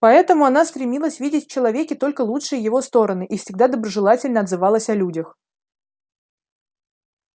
поэтому она стремилась видеть в человеке только лучшие его стороны и всегда доброжелательно отзывалась о людях